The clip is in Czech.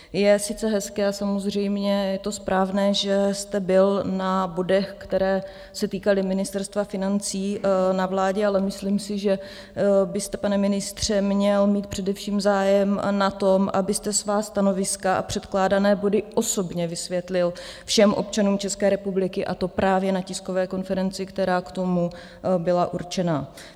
Je sice hezké a samozřejmě je to správné, že jste byl na bodech, které se týkaly Ministerstva financí, na vládě, ale myslím si, že byste, pane ministře, měl mít především zájem na tom, abyste svá stanoviska a předkládané body osobně vysvětlil všem občanům České republiky, a to právě na tiskové konferenci, která k tomu byla určena.